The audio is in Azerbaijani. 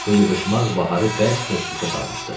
Bu yığışmaq Baharı bərk təşvişə salmışdı.